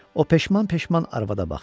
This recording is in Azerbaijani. O peşman-peşman arvada baxdı.